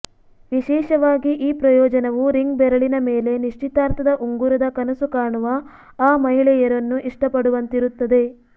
ವಿಶೇಷವಾಗಿ ಈ ಪ್ರಯೋಜನವು ರಿಂಗ್ ಬೆರಳಿನ ಮೇಲೆ ನಿಶ್ಚಿತಾರ್ಥದ ಉಂಗುರದ ಕನಸು ಕಾಣುವ ಆ ಮಹಿಳೆಯರನ್ನು ಇಷ್ಟಪಡುವಂತಿರುತ್ತದೆ